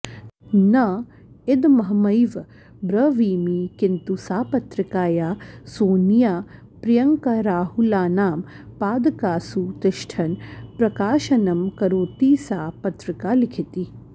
न इदमहमैव ब्रवीमि किन्तु सा पत्रिका या सोनियाप्रियङ्काराहुलानां पादकासु तिष्ठन् प्रकाशनं करोति सा पत्रिका लिखति